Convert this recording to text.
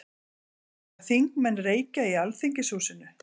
Mega þingmenn reykja í Alþingishúsinu?